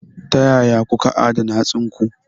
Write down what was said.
Ta ya kuka adana hatsinku?